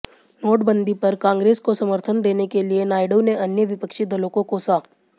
नोटबंदी पर कांग्रेस को समर्थन देने के लिए नायडू ने अन्य विपक्षी दलों को कोसा